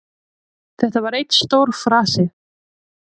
Þetta var einn stór farsi